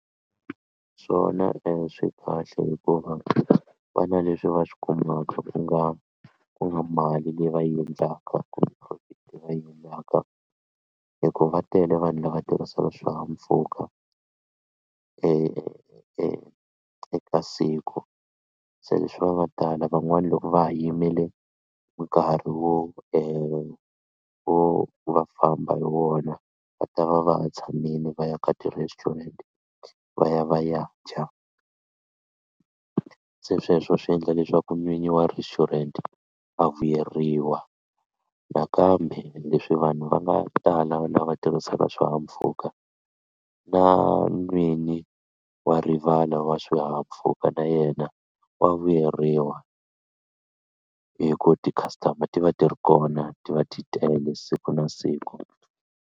Swona e swi kahle hikuva vana leswi va swi kumaka ku nga ku nga mali leyi va yi endlaka kumbe profit leyi va yi endlaka hikuva va tele vanhu lava tirhisaka swihahampfhuka e e eka siku se leswi va nga tala van'wani loko va ha yimele nkarhi wo e wo va famba hi wona va ta va va ha tshamini va ya ka ti-restaurant va ya va ya dya se sweswo swi endla leswaku n'winyi wa restaurant a vuyeriwa nakambe leswi vanhu va nga tala lava tirhisaka swihahampfhuka na n'wini wa rivala wa swihahampfhuka na yena wa vuyeriwa hi ku ti-customer ti va ti ri kona ti va ti tele siku na siku.